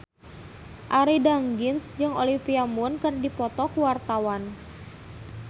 Arie Daginks jeung Olivia Munn keur dipoto ku wartawan